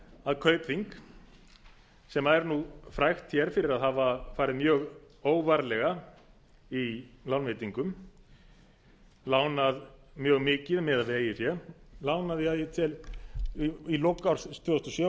að kaupþing sem er frægt fyrir að hafa farið mjög óvarlega í lánveitingum lánað mjög mikið miðað við eigið fé lánaði að ég tel í lok árs tvö þúsund